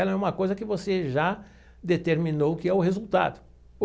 Ela é uma coisa que você já determinou que é o resultado.